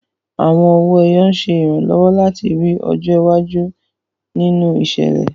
Àwọn owó ẹyọ ń ṣe ìrànlọ́wọ́ láti rí ọjọ́ iwájú nínú ìṣẹ̀lẹ̀.